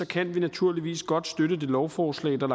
kan vi naturligvis godt støtte det lovforslag der